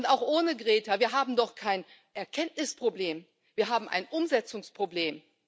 Auch ohne Greta wir haben doch kein Erkenntnisproblem, wir haben ein Umsetzungsproblem!